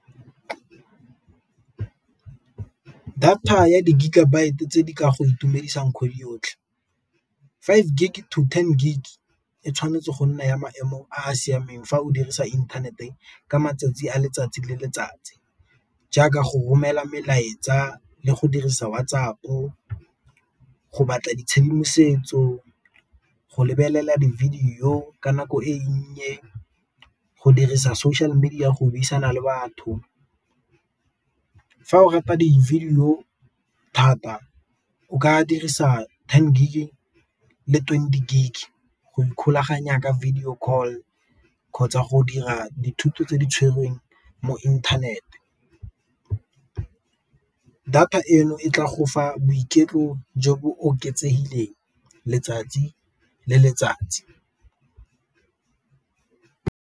Data ya di-gigabyte tse di ka go itumedisang kgwedi yotlhe, five gig to ten gig e tshwanetse go nna ya maemo a a siameng fa o dirisa inthanete ka matsatsi a letsatsi le letsatsi jaaka go romela melaetsa, le go dirisa WhatsApp-o, go batla ditshedimosetso, go lebelela di-video ka nako e nnye, go dirisa social media go buisana le batho. Fa o rata di-video thata o ka dirisa ten gig le twenty gig go ikgolaganya ka video call kgotsa go dira dithuto tse di tshwerweng mo inthanete, data eno e tla go fa boiketlo jo bo oketsegileng letsatsi le letsatsi.